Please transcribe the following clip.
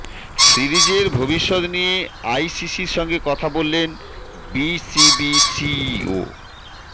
সিরিজের ভবিষ্যৎ নিয়ে আইসিসির সঙ্গে কথা বললেন বিসিবি সিইও